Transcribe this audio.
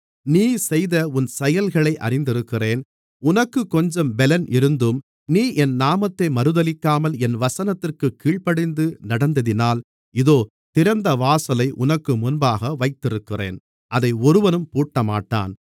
நீ செய்த உன் செயல்களை அறிந்திருக்கிறேன் உனக்குக் கொஞ்சம் பெலன் இருந்தும் நீ என் நாமத்தை மறுதலிக்காமல் என் வசனத்திற்கு கீழ்ப்படிந்து நடந்ததினால் இதோ திறந்தவாசலை உனக்கு முன்பாக வைத்திருக்கிறேன் அதை ஒருவனும் பூட்டமாட்டான்